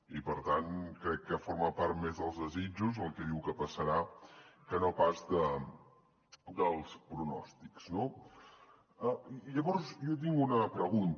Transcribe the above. i per tant crec que forma part més dels desitjos el que diu que passarà que no pas dels pronòstics no llavors jo tinc una pregunta